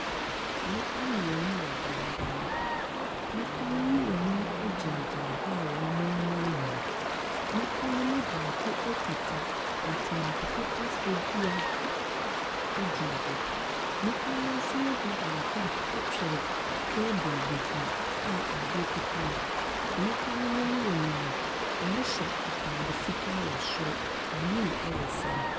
Nnipa mmienu wɔ dan bi mu. Nnipa no mmienu gyinagyina hɔa a wɔremoemoe. Nnipa no mu baako kuta ntomago pepafoɔ dua gyina hɔ. Nnipa no nso mu b baako twere table bi ho a adeɛ kuta no. Nnipa no mu mmienu no, wɔhyɛ atade fitaa wɔ soro, blue wɔ fam.